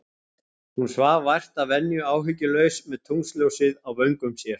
Hún svaf vært að venju, áhyggjulaus, með tunglsljósið á vöngum sér.